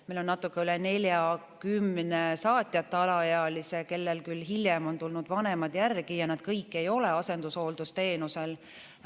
Meil on natuke üle 40 saatjata alaealise, kellele küll hiljem on tulnud vanemad järele, nad kõik ei ole asendushooldusteenusel.